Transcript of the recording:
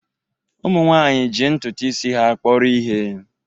ụmụ nwanyị ji ntutu isi ha kpọrọ ihe